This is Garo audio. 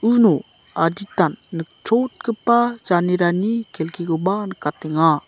uno adita nikchotgipa janerani kelkikoba nikatenga.